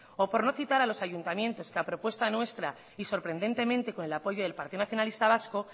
o por no citar a los ayuntamientos que a propuesta nuestra y sorprendentemente con el apoyo del partido nacionalista vasco